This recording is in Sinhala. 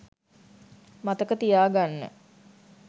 මතක තියා ගන්න.